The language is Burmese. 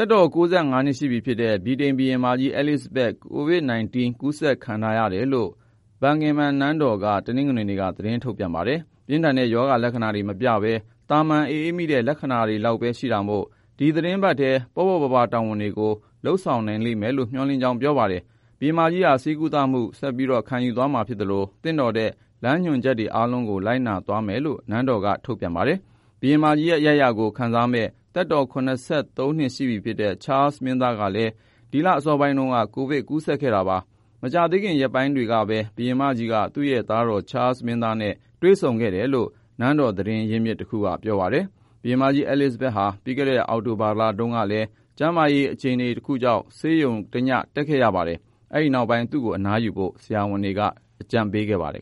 က်တော် ၉၅ နှစ်ရှိပြီဖြစ်တဲ့ ဗြိတိန်ဘုရင်မကြီး အဲလိဇဘက် COVID-19 ကူးစက်ခံထားရတယ်လို့ Buckingham နန်းတော်က တနင်္ဂနွေနေ့က သတင်းထုတ်ပြန်ပါတယ်။ ပြင်းထန်တဲ့ ရောဂါလက္ခဏာတွေ မပြဘဲ သာမန် အအေးမိတဲ့ လက္ခဏာတွေလောက်ပဲ ရှိတာမို့ ဒီသီတင်းပတ်ထဲ ပေ့ါပေါ့ပါးပါး တာဝန်တွေကိုတော့ လုပ်ဆောင်နိုင်မယ်လို့ မျှော်လင့်ကြောင်းလည်း ပြောပါတယ်။ ဘုရင်မကြီးဟာ ဆေးကုသမှု ဆက်ပြီး ခံယူသွားမှာဖြစ်သလို သင့်တော်တဲ့ လမ်းညွှန်ချက်တွေ အားလုံးကို လိုက်နာသွားမယ်လို့လည်း နန်းတော်က ထုတ်ပြန်ပါတယ်။ ဘုရင်မကြီးရဲ့ အရိုက်အရာကို ဆက်ခံရမယ့် သက်တော် ၇၃ နှစ်ရှိပြီဖြစ်တဲ့ Charles မင်းသားလည်း ဒီလ အစောပိုင်းတုန်းက ကိုဗစ် ကူးစက်ခဲ့တာပါ။ မကြာသေးခင် ရက်ပိုင်းတွေကပဲ ဘုရင်မကြီးက သူ့ရဲ့သားတော် Charles မင်းသားနဲ့ တွေ့ဆုံခဲ့တယ်လို့ နန်းတော် သတင်းရင်းမြစ်တခုက ပြောပါတယ်။ ကမ္ဘာ့အသက်အကြီးဆုံးနဲ့ နန်းသက်အရှည်ဆုံး ဘုရင်မကြီး အဲလိဇဘက်ဟာ ပြီးခဲ့တဲ့ အောက်တိုဘာလတုန်းကလည်း တိတိကျကျ မဖော်ပြတဲ့ ကျန်းမာရေး အခြေအနေတခုကြောင့် ဆေးရုံတညတက်ခဲ့ရတာပါ။ ဒီနောက်ပိုင်း သူ့ကို အနားယူဖို့ ဆရာဝန်တွေက အကြံပေးခဲ့ပါတယ်